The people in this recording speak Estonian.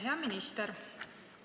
Hea minister!